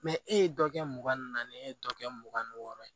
e ye dɔ kɛ mugan ni naani ye e ye dɔ kɛ mugan ni wɔɔrɔ ye